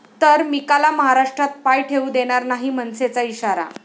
...तर मिकाला महाराष्ट्रात पाय ठेवू देणार नाही, मनसेचा इशारा